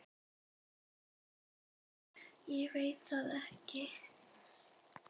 Ég veit það ekki!